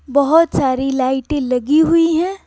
बहुत सारी लाइटें लगी हुई है।